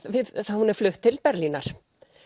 hún er flutt til Berlínar